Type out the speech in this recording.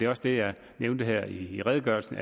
også det jeg nævnte her i redegørelsen